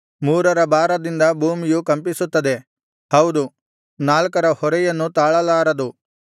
ಮೂರರ ಭಾರದಿಂದ ಭೂಮಿಯು ಕಂಪಿಸುತ್ತದೆ ಹೌದು ನಾಲ್ಕರ ಹೊರೆಯನ್ನು ತಾಳಲಾರದು